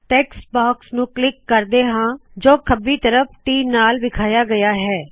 text box ਨੁ click ਕਰਦੇ ਹਾ ਜੋ ਖੰਬੀ ਤਰਫ T ਨਾਲ ਵਿਖਾਇਆ ਗਇਆ ਹੈ